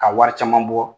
Ka wari caman bɔ